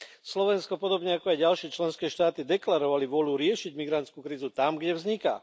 Slovensko podobne ako aj ďalšie členské štáty deklarovalo vôľu riešiť migrantskú krízu tam, kde vzniká.